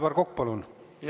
Aivar Kokk, palun!